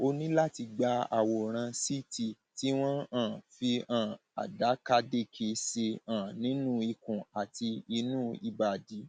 o ní láti gba àwòrán ct tí wọn um fi um àdàkàdekè ṣe um nínú ikùn àti inú ìbàdí